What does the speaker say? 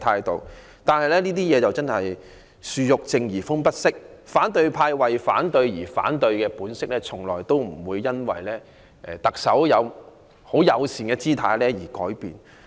但是，"樹欲靜而風不息"，反對派為反對而反對的本色從來不會因為特首的友善姿態而改變。